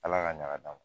Ala ka ɲa ma